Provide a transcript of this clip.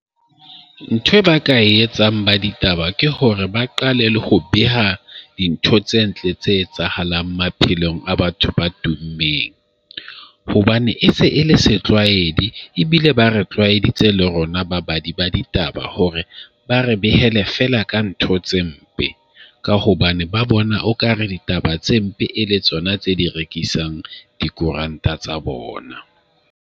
Ntho ba ka e etsang ba ditaba ke hore ba qale le ho beha dintho tse ntle tse etsahalang maphelong a batho ba tummeng hobane e se e le setlwaeding ebile ba re tlwaeditse le rona babadi ba ditaba hore ba re behele fela ka ntho tse mpe, ka hobane ba bona okare ditaba tse mpe e le tsona tse di rekisang dikoranta tsa bona.